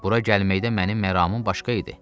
Bura gəlməkdə mənim məramım başqa idi.